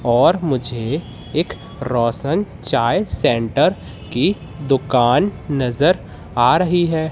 और मुझे एक रोशन चाय सेंटर की दुकान नजर आ रही है।